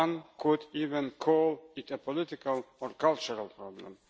One could even call it a political or cultural problem.